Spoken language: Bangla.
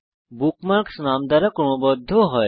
বুকমার্কস নাম দ্বারা ক্রমবদ্ধ হয়